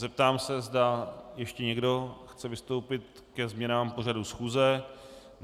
Zeptám se, zda ještě někdo chce vystoupit ke změnám pořadu schůze.